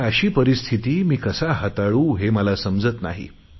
आता ही परिस्थिती मी कशी हाताळू हे मला समजत नाही